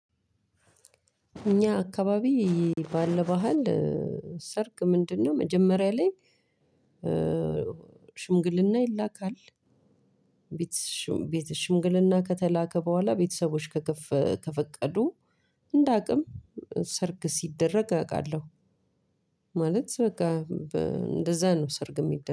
እኛ አከባቢ ባለ ባህል ሰርግ ምንድነው? መጀመሪያ ላይ ሽምግልና ይላካል። ቤት ሽምግልና ከተላከ በኋላ ቤተሰቦች ከፈቀዱ እንደ አቅም ሰርግ ሲደረግ አውቃለሁ። ማለት በቃ እንደዛ ነው ሰርግ የሚደረግ